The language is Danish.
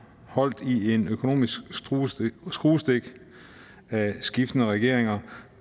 holdt i en økonomisk skruestik af skiftende regeringer